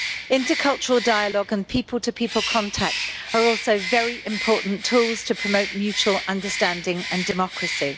Intercultural dialogue and people to people contact are also very important tools to promote mutual understanding and democracy.